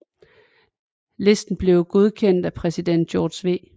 Listen blev godkendt af præsident George W